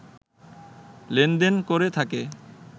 লেনদেন করে থাকে